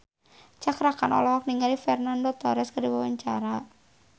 Cakra Khan olohok ningali Fernando Torres keur diwawancara